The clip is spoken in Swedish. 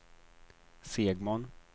Segmon